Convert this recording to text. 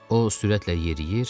O sürətlə yeriyir,